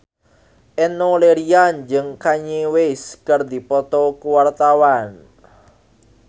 Enno Lerian jeung Kanye West keur dipoto ku wartawan